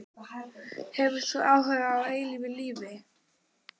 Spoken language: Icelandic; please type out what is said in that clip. Hefur þú áhuga á eilífu lífi?